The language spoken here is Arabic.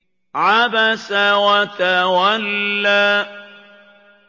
عَبَسَ وَتَوَلَّىٰ